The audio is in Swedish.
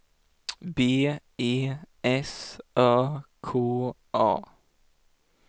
B E S Ö K A